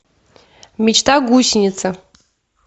мечта гусеница